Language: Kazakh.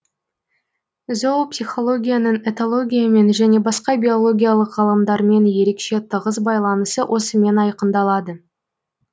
зоопсихологияның этологиямен және басқа биологиялық ғылымдармен ерекше тығыз байланысы осымен айқындалады